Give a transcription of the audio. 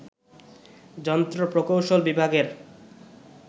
যন্ত্র প্রকৌশল বিভাগের